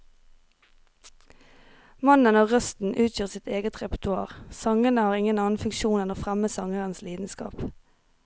Mannen og røsten utgjør sitt eget repertoar, sangene har ingen annen funksjon enn å fremme sangerens lidenskap.